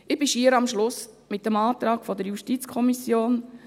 Ich bin fast am Schluss angelangt, beim Antrag der JuKo.